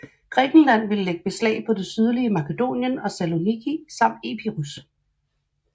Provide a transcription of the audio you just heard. Grækenland ville lægge beslag på det sydlige Makedonien og Saloniki samt Epirus